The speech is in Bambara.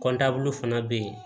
fana bɛ yen